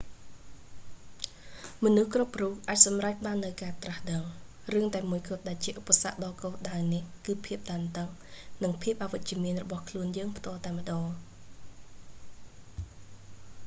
មនុស្សគ្រប់រូបអាចសម្រេចបាននូវការត្រាស់ដឹង រឿងតែមួយគត់ដែលជាឧបសគ្គដល់គោលដៅនេះ គឺភាពតានតឹង និងភាពអវិជ្ជមានរបស់ខ្លួនយើងផ្ទាល់តែម្តង